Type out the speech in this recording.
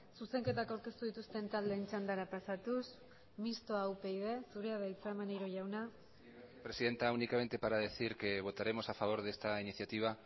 zuzenketak aurkeztu dituzten taldeen txandara pasatuz mistoa upyd zurea da hitza maneiro jauna presidenta únicamente para decir que votaremos a favor de esta iniciativa